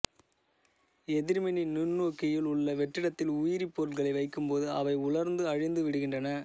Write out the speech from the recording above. எதிர்மின்னி நுண்நோக்கியில் உள்ள வெற்றிடத்தில் உயிரிப் பொருட்களை வைக்கும் போது அவை உலர்ந்து அழிந்து விடுகின்றன